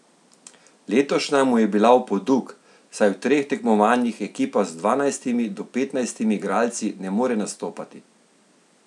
Letošnja mu je bila v poduk, saj v treh tekmovanjih ekipa s dvanajstimi do petnajstimi igralci ne more nastopati.